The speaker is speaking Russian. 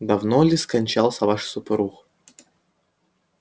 давно ли скончался ваш супруг